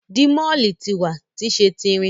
Dimole ti wa ni ṣe ti irin